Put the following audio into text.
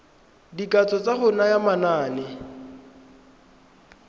dikatso tsa go naya manane